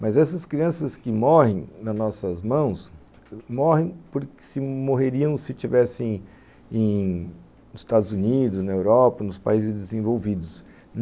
Mas essas crianças que morrem nas nossas mãos, morrem porque se morreriam se estivessem nos Estados Unidos, na Europa, nos países desenvolvidos.